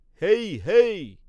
হেই হেই